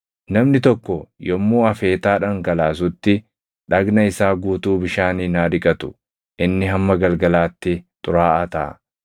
“ ‘Namni tokko yommuu afeetaa dhangalaasutti dhagna isaa guutuu bishaaniin haa dhiqatu; inni hamma galgalaatti xuraaʼaa taʼa.